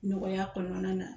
Nɔgɔya kɔnɔna na